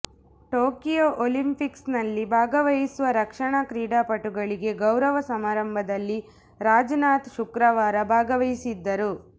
Tokyo ಒಲಿಂಪಿಕ್ಸ್ನಲ್ಲಿ ಭಾಗವಹಿಸುವ ರಕ್ಷಣಾ ಕ್ರೀಡಾಪಟುಗಳಿಗೆ ಗೌರವ ಸಮಾರಂಭದಲ್ಲಿ ರಾಜನಾಥ್ ಶುಕ್ರವಾರ ಭಾಗವಹಿಸಿದ್ದರು